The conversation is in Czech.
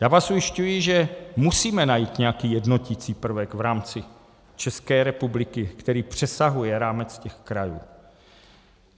Já vás ujišťuji, že musíme najít nějaký jednoticí prvek v rámci České republiky, který přesahuje rámec těch krajů.